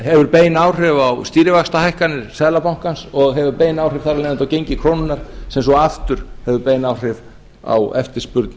hefur bein áhrif á stýrivaxtahækkanir seðlabankans og hefur bein áhrif þar af leiðandi á gengi krónunnar sem svo aftur hefur bein áhrif á eftirspurn